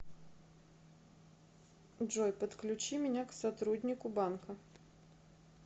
джой подключи меня к сотруднику банка